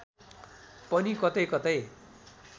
पनि कतैकतै